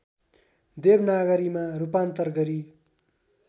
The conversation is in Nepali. देवनागरीमा रूपान्तर गरी